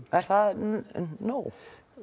er það nóg